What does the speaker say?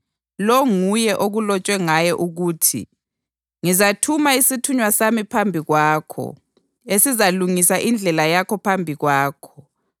Lo nguye okulotshwe ngaye ukuthi: ‘Ngizathuma isithunywa sami phambi kwakho, esizalungisa indlela yakho phambi kwakho.’ + 11.10 UMalaki 3.1